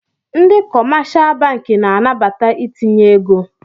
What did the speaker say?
Ndị kọmáshá bankị na-anabata itinye égo